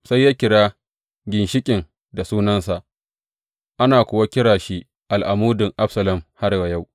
Sai ya kira ginshiƙin da sunansa, ana kuwa kira shi Al’amudin Absalom har wa yau.